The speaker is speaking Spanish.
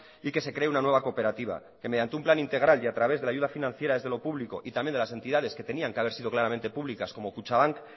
y que se cree una nueva cooperativa que mediante un plan integral y a través de la ayuda financiera desde lo público y también de las entidades que tenían que haber sido claramente públicas como kutxabank